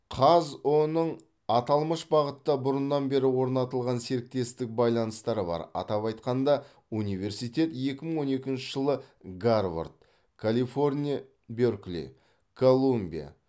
қазұу ның аталмыш бағытта бұрыннан бері орнатылған серіктестік байланыстары бар атап айтқанда университет екі мың он екінші жылы гарвард калифорния беркли колумбия